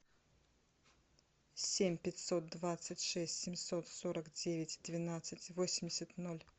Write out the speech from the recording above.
семь пятьсот двадцать шесть семьсот сорок девять двенадцать восемьдесят ноль